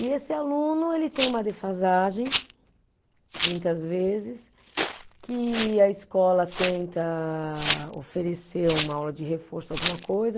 E esse aluno ele tem uma defasagem, muitas vezes, que a escola tenta oferecer uma aula de reforço, alguma coisa.